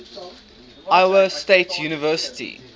iowa state university